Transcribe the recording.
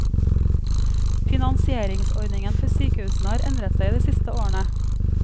Finansieringsordningen for sykehusene har endret seg de siste årene.